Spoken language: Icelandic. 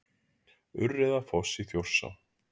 Urriðafoss í Þjórsá.